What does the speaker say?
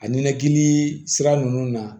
A ninakili sira ninnu na